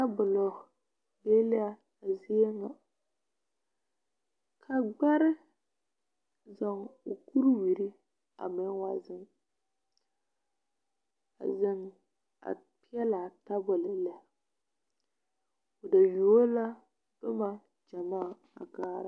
Tabolo be la a zie ŋa ka gbɛre zɔŋ o kuriwiri a be wa zeŋ a yɛŋ a peɛle a tabol lɛ ba yuo la noba gyamaa a kaara.